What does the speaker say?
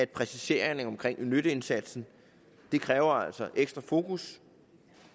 præciseringer af nytteindsatsen det kræver altså ekstra fokus